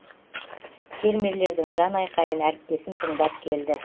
фермерлердің жан айқайын әріптесім тыңдап келді